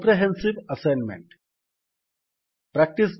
comprehensive assignment